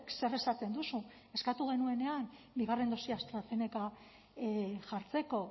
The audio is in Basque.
zer esaten duzu eskatu genuenean bigarren dosia astrazeneca jartzeko